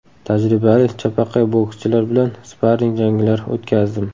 Tajribali chapaqay bokschilar bilan sparring janglar o‘tkazdim.